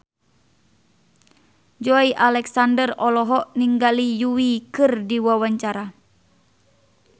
Joey Alexander olohok ningali Yui keur diwawancara